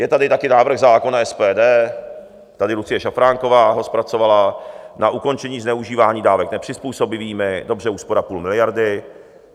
Je tady taky návrh zákona SPD - tady Lucie Šafránková ho zpracovala - na ukončení zneužívání dávek nepřizpůsobivými, dobře úspora půl miliardy.